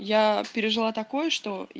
я пережила такое что